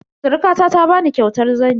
Surkuwata ta bani kyautar zani.